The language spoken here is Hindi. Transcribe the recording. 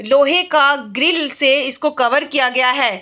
लोहे का ग्रिल से इसको कवर किया गया है।